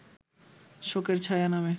শোকের ছায়া নামে